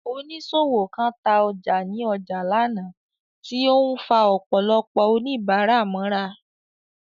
Oníṣòwò kan ta ọjà ní ọjà lánàá, tí ó ń fa ọ̀pọ̀lọpọ̀ oníbàárà mọ́ra.